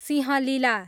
Singalila